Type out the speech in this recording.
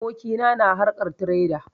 Abokina na harkan tireda